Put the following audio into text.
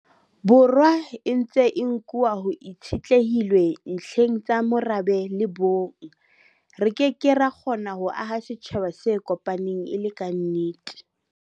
Borwa e ntse e nkuwa ho itshitlehilwe ntlheng tsa morabe le bong, re ke ke ra kgona ho aha setjhaba se kopaneng e le kannete.